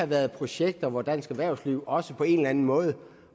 være projekter hvor dansk erhvervsliv også på en eller anden måde